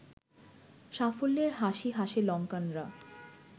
সাফল্যের হাসি হাসে লঙ্কানরা